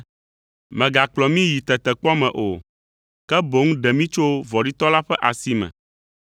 Mègakplɔ mí yi tetekpɔ me o, ke boŋ ɖe mí tso vɔ̃ɖitɔ la ƒe asi me.’